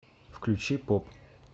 включи поп